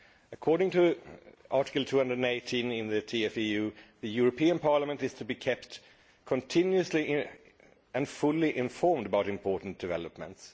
According to Article 218 of the TFEU, the European Parliament is to be kept continuously and fully informed about important developments.